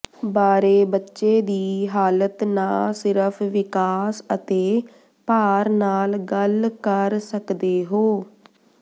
ਬਾਰੇ ਬੱਚੇ ਦੀ ਹਾਲਤ ਨਾ ਸਿਰਫ ਵਿਕਾਸ ਅਤੇ ਭਾਰ ਨਾਲ ਗੱਲ ਕਰ ਸਕਦੇ ਹੋ